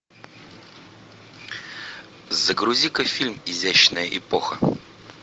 загрузи ка фильм изящная эпоха